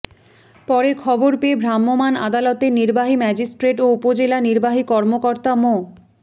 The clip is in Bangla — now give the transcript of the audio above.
পরে খবর পেয়ে ভ্রাম্যমাণ আদালতের নির্বাহী ম্যাজিস্ট্রেট ও উপজেলা নির্বাহী কর্মকর্তা মো